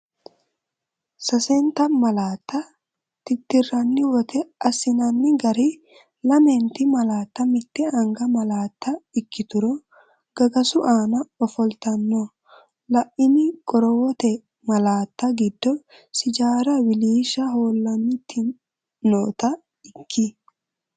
Sasenta malaatta tittirranniwote: Assinanni gari lamenti malaatta mitte anga malaatta ikkituro gagasu aana ofoltanno, La’ini qorowote malaatta giddo sijaara wiliishsha hoolantinota ikki?